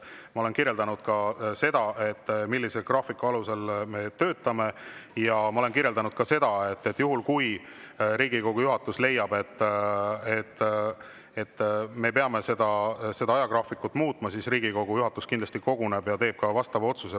Ma olen kirjeldanud seda, millise graafiku alusel me töötame, ja ma olen kirjeldanud ka seda, et juhul, kui Riigikogu juhatus leiab, et me peame seda ajagraafikut muutma, siis Riigikogu juhatus kindlasti koguneb ja teeb vastava otsuse.